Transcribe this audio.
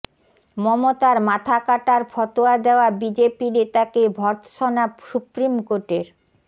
মমতার মাথা কাটার ফতোয়া দেওয়া বিজেপি নেতাকে ভর্ৎসনা সুপ্রিম কোর্টের